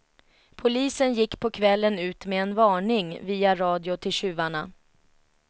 Polisen gick på kvällen ut med en varning via radio till tjuvarna.